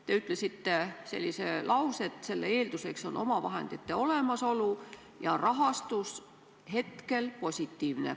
Te ütlesite sellise lause, et selle eelduseks on omavahendite olemasolu, ja rahastus hetkel positiivne.